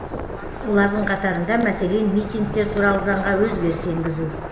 олардың қатарында мәселен митингтер туралы заңға өзгеріс енгізу